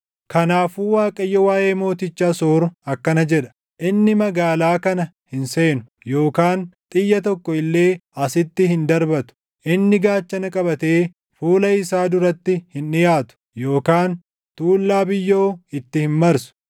“Kanaafuu Waaqayyo waaʼee mooticha Asoor akkana jedha: “Inni magaalaa kana hin seenu, yookaan xiyya tokko illee asitti hin darbatu. Inni gaachana qabatee fuula isaa duratti hin dhiʼaatu yookaan tuullaa biyyoo itti hin marsu.